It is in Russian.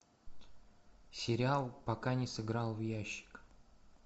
сериал пока не сыграл в ящик